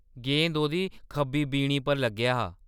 गेंद ओह्दी खब्बी बीणी पर लग्गेआ हा।